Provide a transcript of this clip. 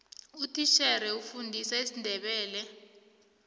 utitjhere ufundisa isindebele